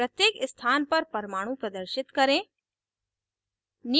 3 प्रत्येक स्थान पर परमाणु प्रदर्शित करें